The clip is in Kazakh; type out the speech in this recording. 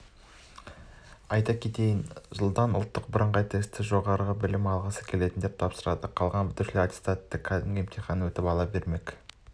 айта кетейін жылдан ұлттық бірыңғай тестті жоғары білім алғысы келетіндер тапсырады қалған бітірушілер аттестатты кәдімгі емтиханнан өтіп ала бермек